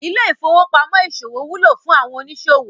Ilé ìfowópamó ìsòwò wúlò fún àwọn òníṣòwò